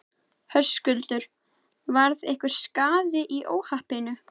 Höskuldur: Varð einhver skaði í óhappinu?